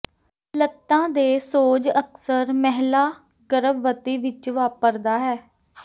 ਲਤ੍ਤਾ ਦੇ ਸੋਜ ਅਕਸਰ ਮਹਿਲਾ ਗਰਭਵਤੀ ਵਿੱਚ ਵਾਪਰਦਾ ਹੈ